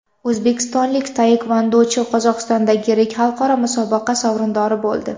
O‘zbekistonlik taekvondochi Qozog‘istondagi yirik xalqaro musobaqa sovrindori bo‘ldi.